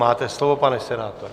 Máte slovo, pane senátorem.